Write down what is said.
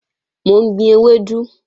Mò ń gbin ewédú